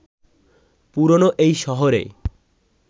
পুরোনো এই শহরে